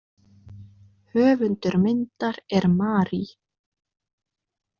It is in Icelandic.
Höfundur myndar er Mary.